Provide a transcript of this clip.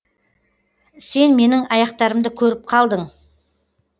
сен менің аяқтарымды көріп қалдың